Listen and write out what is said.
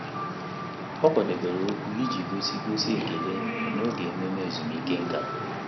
Ọ́ kwàdòbèrè okwu iji gósí gósí ekele n’ógè ememe ezumike nkà.